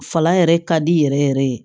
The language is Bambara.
Fala yɛrɛ ka di yɛrɛ yɛrɛ ye